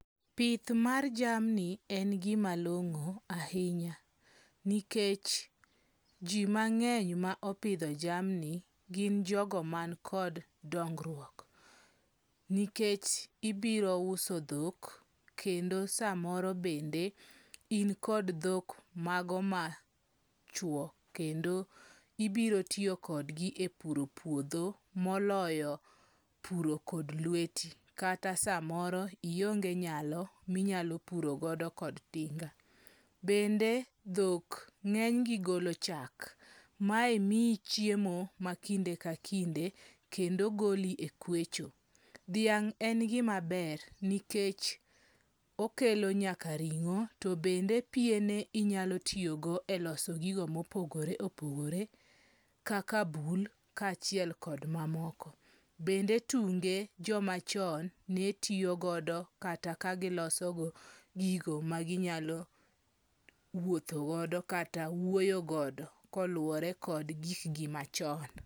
Pith mar jamni en gimalongo' ahinya, nikech ji mange'ny ma opitho jamni gin jogo man kod dongruok, nikech ibirouso thok, kendo samoro bende inkod thok mago machuo kendo ibiro tiyokodgi e puro puotho moloyo puro kod lweti kata samoro ionge nyalo minyalo purogodo kod tinga, bende thok nge'nygi golo chak mae miyi chiemo makinde ka kinde kendo goli e kwecho, thiang' en gimaber nikech okelonyaka ringo to bende piene inyalo tiyogo e loso gigo ma opogore opogore , kaka bul kachiel kod mamoko , bende tunge jomachon netiyogodo kata kagilosogodo gigo ma ginyalo wuothogodo kata wuoyo godo koluore kod gikgi machon.